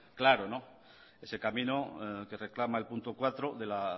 claro ese camino que reclama el punto cuatro de la